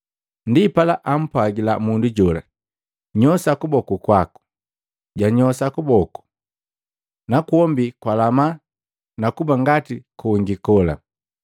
Ndipala ampwagila mundu jola, “Nyosa kuboku kwaku.” Janyosa kuboku, nakwombi kwalama na kuba ngati kongi kola.